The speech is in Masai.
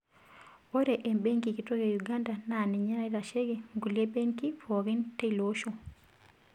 Ore embenki kitok e Uganda naa ninye naitasheiki nkulie benkii pookin teiloosho.